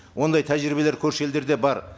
ондай тәжірибелер көрші елдерде бар